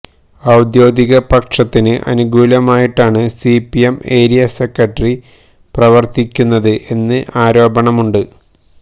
ഔദ്യോഗിക പക്ഷത്തിന് അനുകൂലമായിട്ടാണ് സിപിഎം ഏരിയ സെക്രട്ടറി പ്രവര്ത്തിക്കുന്നത് എന്ന് ആരോപണമുണ്ട്